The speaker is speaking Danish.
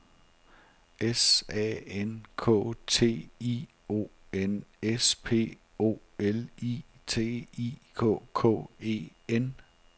S A N K T I O N S P O L I T I K K E N